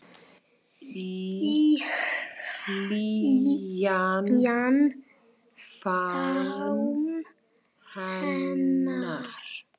Í hlýjan faðm hennar.